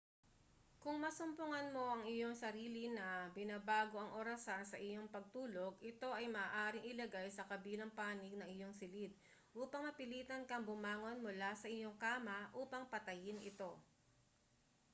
kung masumpungan mo ang iyong sarili na binabago ang orasan sa iyong pagtulog ito ay maaaring ilagay sa kabilang panig ng iyong silid upang mapilitan kang bumangon mula sa iyong kama upang patayin ito